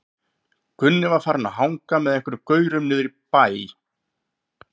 Gunni var farinn að hanga með einhverjum gaurum niðri í bæ.